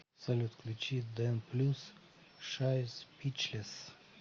салют включи дэн плюс шай спичлесс